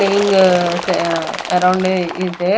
playing sa-- around is a--